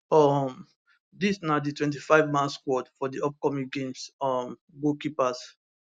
um dis na di 25 man squad for di upcoming games um goalkeepers